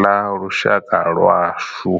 ḽa lushaka lwashu.